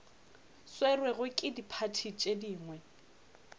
swerwego ke diphathi tše dingwe